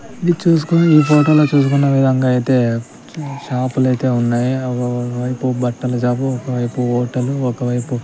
ఇది చూసుకొని ఈ ఫోటో లో చూసుకున్న విధంగా అయితే షాపు లు అయితే ఉన్నాయి ఒక వైపు బట్టల షాప్ ఒక వైపు హోటల్ ఒక వైపు --